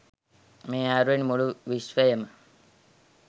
මේ අයුරින් මුළු විශ්වයම